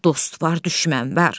Dost var, düşmən var.